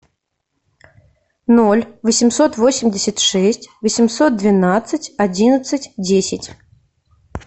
ноль восемьсот восемьдесят шесть восемьсот двенадцать одиннадцать десять